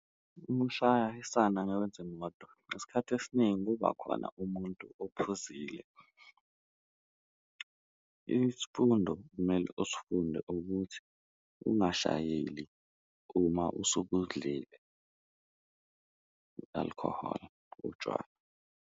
Uma ushayisana ngezimoto, isikhathi esiningi kuba khona umuntu ophuzile. Isifundo okumele usifunde ukuthi ungashayeli uma usukudlile alcohol, utshwala.